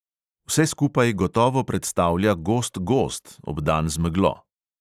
Vse skupaj gotovo predstavlja gost gozd, obdan z meglo.